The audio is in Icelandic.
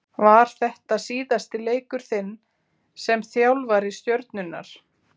Var þetta síðasti leikur þinn sem þjálfari Stjörnunnar?